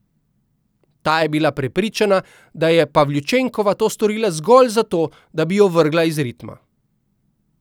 Ta je bila prepričana, da je Pavljučenkova to storila zgolj zato, da bi jo vrgla iz ritma.